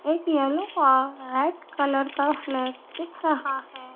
एक येलो का red colour का फ्लैग दिख रहा है।